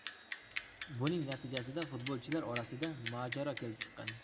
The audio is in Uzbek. Buning natijasida futbolchilar orasida mojaro kelib chiqqan.